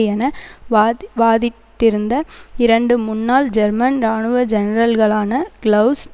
என வாதி வாதிட்டிருந்த இரண்டு முன்னாள் ஜெர்மன் இராணுவ ஜெனரல்களான கிளவுஸ்